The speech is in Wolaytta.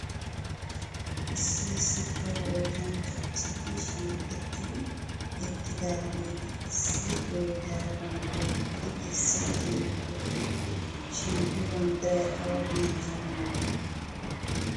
Issi issi kawo oosanchcha asati shiiqettidi eqqidaageeti issi bootta banddiraa pude kessiidi beettoosona shin he banddiray awa biittaa banddiree ?